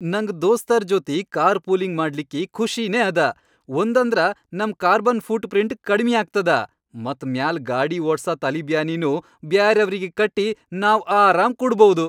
ನಂಗ್ ದೋಸ್ತರ್ ಜೊತಿ ಕಾರ್ ಪೂಲಿಂಗ್ ಮಾಡ್ಲಿಕ್ಕಿ ಖುಷಿನೇ ಅದ, ಒಂದಂದ್ರ ನಂ ಕಾರ್ಬನ್ ಫೂಟ್ ಪ್ರಿಂಟ್ ಕಡಿಮ್ಯಾಗ್ತದ ಮತ್ ಮ್ಯಾಲ್ ಗಾಡಿ ಓಡ್ಸ ತಲಿಬ್ಯಾನಿನೂ ಬ್ಯಾರೆಯವ್ರಿಗಿ ಕಟ್ಟಿ ನಾವ್ ಆರಾಮ್ ಕೂಡ್ಬೌದು.